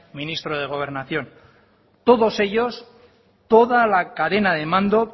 ministro de gobernación todos ellos toda la cadena de mando